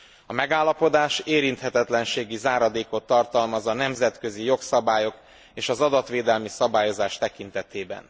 A megállapodás érinthetetlenségi záradékot tartalmaz a nemzetközi jogszabályok és az adatvédelmi szabályozás tekintetében.